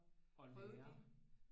Og lære